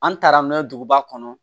An taara n'o ye duguba kɔnɔ